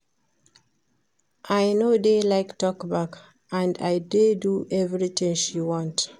I no dey like talk back and I dey do everything she want